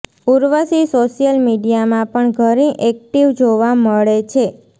Urvashi social મીડિયામાં પણ ઘણી એક્ટીવ જોવા મળે છે